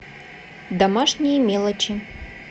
домашние мелочи